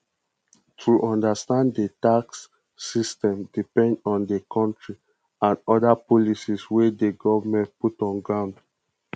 to understand di tax system depend on di country and oda policies wey di governement put for ground